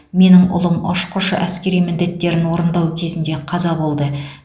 менің ұлым ұшқыш әскери міндеттерін орындау кезінде қаза болды